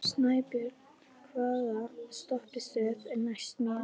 Snæbjört, hvaða stoppistöð er næst mér?